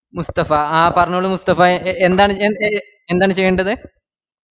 മുസ്‌തഫ ആഹ് പറഞ്ഞോളൂ മുസ്‌തഫ എ എന്താണു ഞാൻ എ എന്താണ് ചെയ്യണ്ടത്